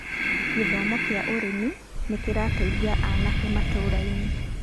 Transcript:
gĩthomo kĩa ũrĩmi nĩ kĩrateithia aanake matũũra-inĩ